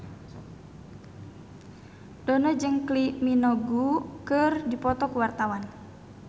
Dono jeung Kylie Minogue keur dipoto ku wartawan